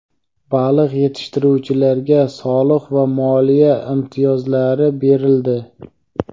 Baliq yetishtiruvchilarga soliq va moliya imtiyozlari berildi.